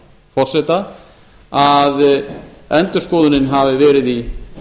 forseta að endurskoðunin hafi verið í